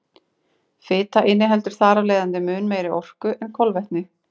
Fita inniheldur þar af leiðandi mun meiri orku en kolvetni.